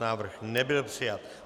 Návrh nebyl přijat.